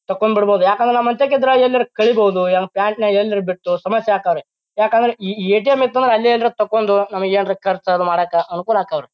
ತಕ್ಕೊಂಡ್ ಬರ್ಬಹುದು ಯಾಕೆಂದ್ರ ನಮ್ಮ್ಹನ್ಟ್ಯಾಕ್ ಗಿದ್ರ ಎಲ್ಲರ ಕಲೀಬಹುದು ಪ್ಯಾಂಟ್ ನ್ಯಾಗ್ ಎಲ್ಲಾರ ಬಿಟ್ಟು ಸಮಸ್ಯೆ ಆಕ್ಕಾವ್ ರೀ ಯಾಕಂದ್ರ ಈ ಎಟಿಎಂ ಇತ್ತ ಅಂದ್ರ ಅಲ್ಲೇ ಎಲ್ಲರೆ ತಕೊಂಡ್ ನಮಗ ಏನಾರ ಖರ್ಚು ಅದು ಮಾಡಾಕ್ಕ ಅನುಕೂಲ ಆಕ್ಕಾವ್ ರಿ--